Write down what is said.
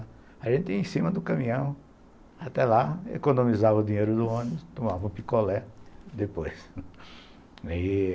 A gente ia em cima do caminhão até lá, economizava o dinheiro do ônibus, tomava um picolé depois